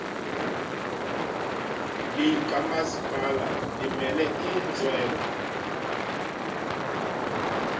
likamasipala limele iintswelo